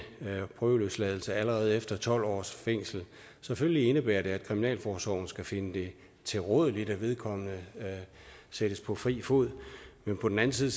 prøveløsladelse allerede efter tolv års fængsel selvfølgelig indebærer det at kriminalforsorgen skal finde det tilrådeligt at vedkommende sættes på fri fod på den anden side